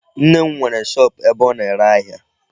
Nne m nwere shop ebe ọ na-ere ahịa.